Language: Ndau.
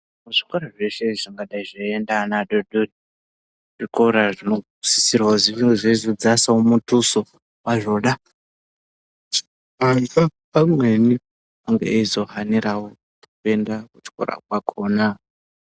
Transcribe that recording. Muzvikora zveshe zvingadai zveiienda vana vadodori zvikora zvinosisirwa kuti zvinge zveizodzasavo mutuso vazvona. Pamweni enge eizo haniravo kuenda kuchikora kwakona.